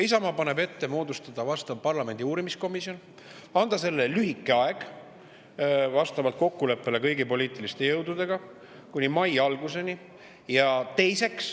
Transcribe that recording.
Isamaa paneb ette moodustada vastav parlamendi uurimiskomisjon ja anda sellele lühike aeg vastavalt kokkuleppele kõigi poliitiliste jõududega – kuni mai alguseni.